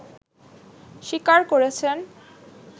স্বীকার করেছেন